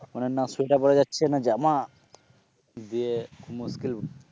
মানে না সোয়েটার পড়া যাচ্ছে না জামা যে মুশকিল